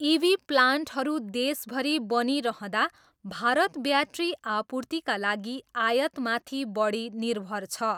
इभी प्लान्टहरू देशभरि बनिइरहँदा भारत ब्याट्री आपूर्तिका लागि आयातमाथि बढी निर्भर छ।